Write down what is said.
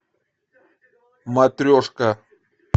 матрешка